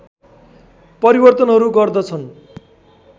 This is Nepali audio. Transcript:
परिवर्तनहरू गर्दछन्